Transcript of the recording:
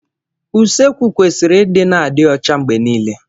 Usekwu kwesịrị ịdị na-adị ọcha mgbe niile.